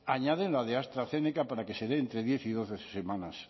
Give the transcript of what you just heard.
añaden la de astrazeneca para que se entre diez y doce semanas